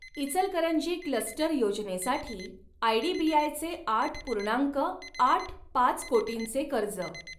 Ichalkaranji cluster योजनेसाठी आयडीबीआयचे आठ पूर्णांक आठ पाच कोटींचे कर्ज.